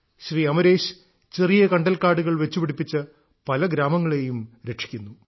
ശ്രീ അമരേശ് ചെറിയ കണ്ടൽക്കാടുകൾ വെച്ചുപിടിപ്പിച്ച് പല ഗ്രാമങ്ങളെയും രക്ഷിക്കുന്നു